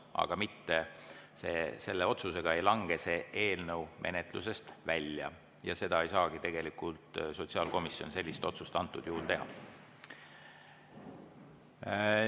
Aga selle otsusega ei lange see eelnõu menetlusest välja, sellist otsust ei saagi tegelikult sotsiaalkomisjon antud juhul teha.